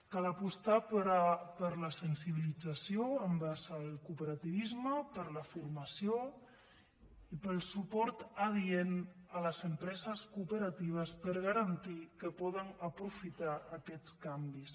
cal apostar per la sensibilització envers el cooperativisme per la formació i pel suport adient a les empreses cooperatives per garantir que poden aprofitar aquests canvis